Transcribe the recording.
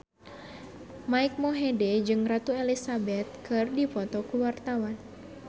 Mike Mohede jeung Ratu Elizabeth keur dipoto ku wartawan